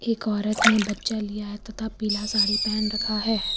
एक औरत ने बच्चा लिया है तथा पीला साड़ी पहन रखा है।